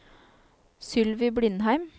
Sylvi Blindheim